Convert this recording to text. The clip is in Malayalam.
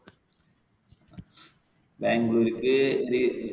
ബാംഗ്ലൂർക്ക്.